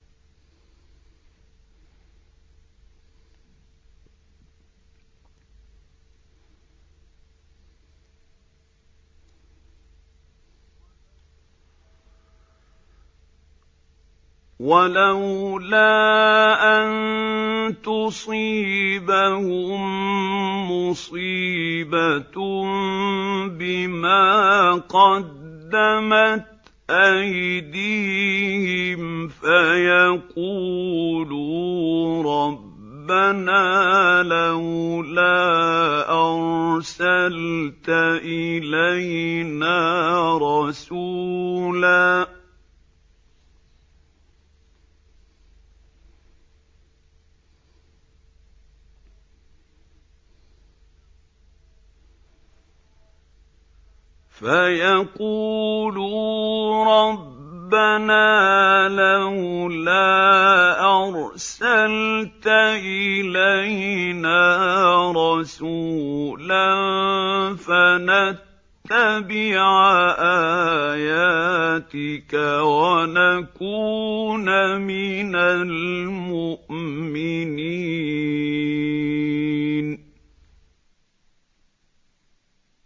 وَلَوْلَا أَن تُصِيبَهُم مُّصِيبَةٌ بِمَا قَدَّمَتْ أَيْدِيهِمْ فَيَقُولُوا رَبَّنَا لَوْلَا أَرْسَلْتَ إِلَيْنَا رَسُولًا فَنَتَّبِعَ آيَاتِكَ وَنَكُونَ مِنَ الْمُؤْمِنِينَ